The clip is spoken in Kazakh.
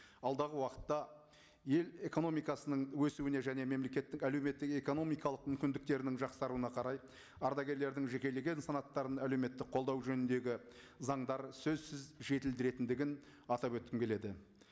алдағы уақытта ел экономикасының өсуіне және мемлекеттік әлеуметтік экономикалық мүмкіндіктерінің жақсаруына қарай ардагерлердің жекелеген санаттарын әлеуметтік қолдау жөніндегі заңдар сөзсіз жетілдіретіндігін атап өткім келеді